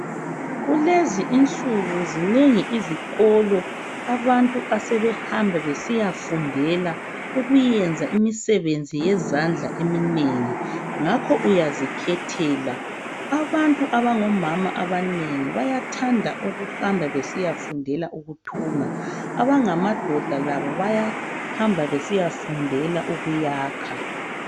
Kulezi insuku zinengi izikolo abantu asebehamba besiyafundela ukuyenza imisebenzi yezandla eminengi, ngakho uyazikhethela . Abantu abangomama abanengi bayathanda ukuhamba besiyafundela ukuthunga, abangamadoda labo bayahamba besiyafundela ukuyakha.